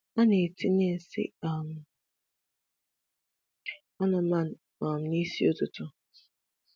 A na-etinye nsị um anụmanụ na um ịsị ụtụtụ.